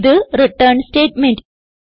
ഇത് return statement